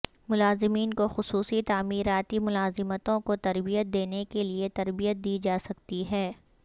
ملازمین کو خصوصی تعمیراتی ملازمتوں کو تربیت دینے کے لئے تربیت دی جا سکتی ہے